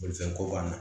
Bolifɛnko banna